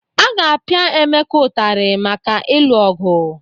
A ga-apịa Emeka ụtarị maka ịlụ ọgwụ.